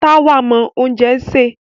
Táwà mọ oúnjẹ sè.